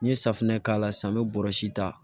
N ye safunɛ k'a la sa n bɛ bɔrɛ si ta